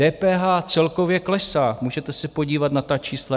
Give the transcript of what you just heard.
DPH celkově klesá, můžete se podívat na ta čísla.